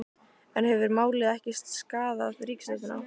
En hefur málið ekki skaðað ríkisstjórnina?